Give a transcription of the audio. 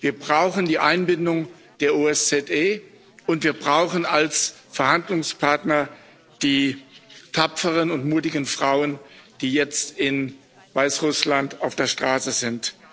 Wir brauchen die Einbindung der OSZE, und wir brauchen als Verhandlungspartner die tapferen und mutigen Frauen, die jetzt in Weißrussland auf der Straße sind.